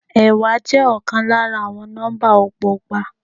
Ẹẹ́wa je ọkàn lára àwọn nọ́mbà ọgbọgba.